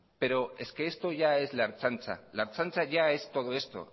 pero es que esto ya es la ertzaintza la ertzaintza ya es todo esto